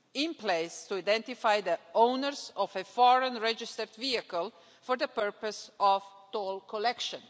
in place to identify the owners of a foreign registered vehicle for the purpose of toll collection.